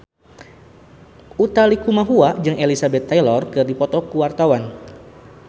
Utha Likumahua jeung Elizabeth Taylor keur dipoto ku wartawan